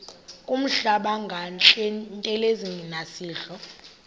kuhlamba ngantelezi nasidlo